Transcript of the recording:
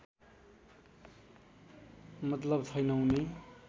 मतलव छैन उनी